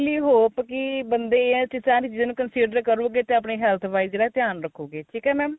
really hope ਕੀ ਬੰਦੇ ਕੀ ਸਾਰੀ ਚੀਜਾਂ ਨੂੰ consider ਕਰੋਗੇ ਤਾਂ ਆਪਣੀ health wise ਇਸਦਾ ਧਿਆਨ ਰੱਖੋਗੇ ਠੀਕ ਏ mam